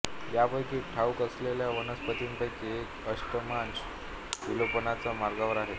यापैकी ठाऊक असलेल्या वनस्पतींपैकी एक अष्टमांश विलोपनाच्या मार्गावर आहेत